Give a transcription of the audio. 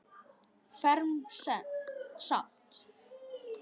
Fermt samt.